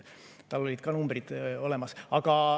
Need numbrid olid olemas.